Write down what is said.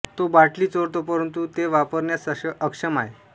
तो बाटली चोरतो परंतु ते वापरण्यास अक्षम आहे